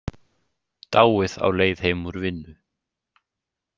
Dáið á leið heim úr vinnu.